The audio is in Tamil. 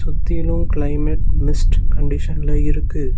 சுத்திலு‌ க்ளைமேட் மிஸ்ட் கண்டிஷன்ல இருக்கு.